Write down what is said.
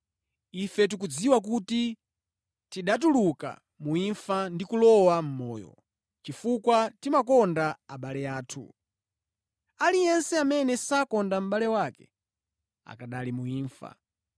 Ife tikudziwa kuti tinatuluka mu imfa ndi kulowa mʼmoyo, chifukwa timakonda abale athu. Aliyense amene sakonda mʼbale wake akanali mu imfa.